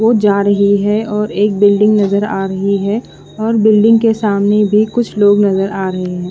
वो जा रही है और एक बिल्डिंग नज़र आ रही है और बिल्डिंग के सामने भी कुछ लोग नज़र आ रहे है।